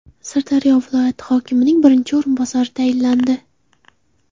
Sirdaryo viloyati hokimining birinchi o‘rinbosari tayinlandi.